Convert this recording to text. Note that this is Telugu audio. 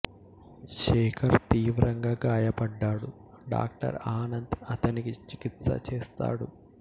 శేఖర్ తీవ్రంగా గాయపడ్డాడు డాక్టర్ ఆనంద్ అతనికి చికిత్స చేస్తాడు